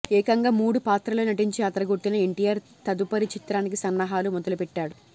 ఏకంగా మూడు పాత్రల్లో నటించి అదరగొట్టిన ఎన్టీఆర్ తదుపరి చిత్రానికి సన్నాహాలు మొదలుపెట్టాడు